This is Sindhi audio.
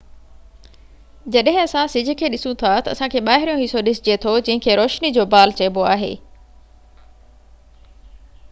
جڏهن اسان سج کي ڏسون ٿا تہ اسان کي ٻاهريون حصو ڏسجي ٿو جنهن کي روشني جو بال چئبو آهي